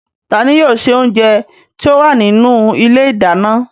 Ta ni yóò ṣe oúnjẹ tí ó wà nínú ilé ìdáná?